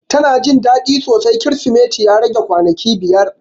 Ta na Jin dadi sosai krisimeti ya rage kwanaki biyar.